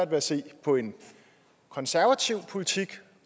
ved at se på en konservativ politik